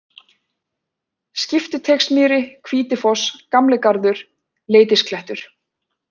Skiptiteigsmýri, Hvítifoss, Gamli-Garður, Leitisklettur